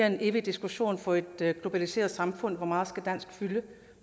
en evig diskussion for et globaliseret samfund hvor meget dansk